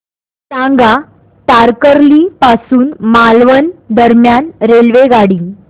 सांगा तारकर्ली पासून मालवण दरम्यान रेल्वेगाडी